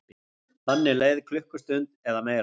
Þannig leið klukkustund eða meira.